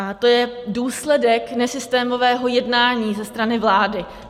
A to je důsledek nesystémového jednání ze strany vlády.